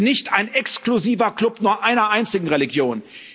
Wir sind nicht ein exklusiver Klub nur einer einzigen Religion.